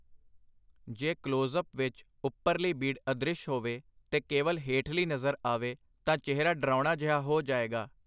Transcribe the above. ਜੇ ਕਲੋਜ਼-ਅਪ ਵਿਚ ਉਪਰਲੀ ਬੀੜ ਅਦ੍ਰਿਸ਼ ਹੋਵੇ ਤੇ ਕੇਵਲ ਹੇਠਲੀ ਨਜ਼ਰ ਆਵੇ, ਤਾਂ ਚਿਹਰਾ ਡਰਾਉਣਾ ਜਿਹਾ ਹੋ ਜਾਏਗਾ.